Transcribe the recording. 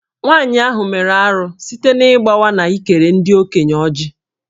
Nwanyị ahụ mere arụ site n’ịgbawa na ịkere ndị okenye Ọjị